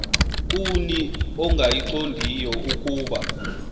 kuni ongayiqondiyo ukuba